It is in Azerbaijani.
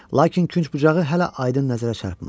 Lakin künc-bucağı hələ aydın nəzərə çarpmır.